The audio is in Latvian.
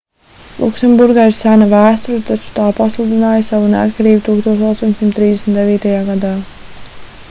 luksemburgai ir sena vēsture taču tā pasludināja savu neatkarību 1839. gadā